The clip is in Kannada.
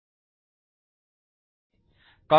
ಕಾಪೀಸ್ ಕಾಪೀಸ್ ನಲ್ಲಿ ಒಂದನ್ನು ನಾವು ಆರಿಸೋಣ